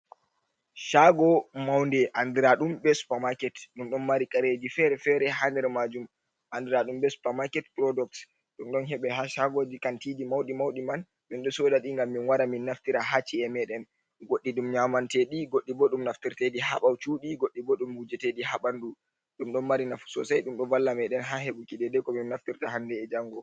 Chago maunde andiraɗum be Supa maket, ɗum ɗon mari Kareji fere-fere ha der majum, andiraɗum be Supa maket Purodok. Ɗum ɗon heɓe ha shagoji, Kantiji mauɗi-mauɗi man, min ɗo Sodaɗi ngam min wara min naftira ha Ci’e meɗen, godɗi ɗum nyamanteɗi godɗi bo ɗum naftirteɗi ha ɓawo Cudi, godɗi bo ɗum wujeteɗi ha ɓandu. Ɗum ɗon mari nafu Sosai ɗum ɗo valla meɗen ha heɓuki dedei komin naftirta hande e jango.